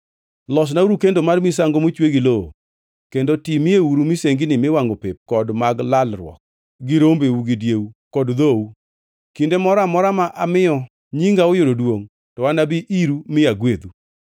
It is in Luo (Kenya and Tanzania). “ ‘Losnauru kendo mar misango mochwe gi lowo kendo timieuru misenginiu miwangʼo pep kod mag lalruok gi rombeu gi dieu kod dhou. Kinde moro amora ma amiyo nyinga oyudo duongʼ, to anabi iru mi agwedhu.